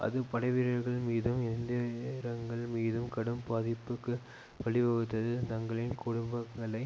அது படைவீரர்கள் மீதும் எந்திரங்கள் மீதும் கடும் பாதிப்புக்கு வழிவகுத்தது தங்களின் குடும்பங்களை